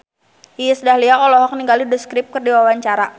Iis Dahlia olohok ningali The Script keur diwawancara